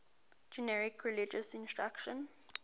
generic religious instruction